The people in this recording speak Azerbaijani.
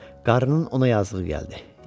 Qarının ona yazığı gəldi.